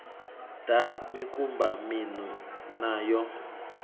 ḓa mikumba miṋu na yo